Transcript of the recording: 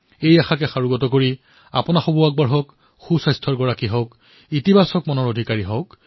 এই বিশ্বাসৰ সৈতে আপোনালোকো আগবাঢ়ক সুস্থ হৈ থাকক